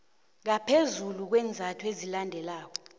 ngaphezulu kweenzathu ezilandelako